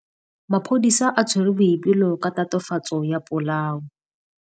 Maphodisa a tshwere Boipelo ka tatofatsô ya polaô.